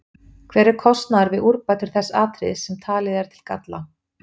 Hver er kostnaður við úrbætur þess atriðis sem talið er til galla?